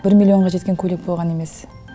бір миллионға жеткен көйлек болған емес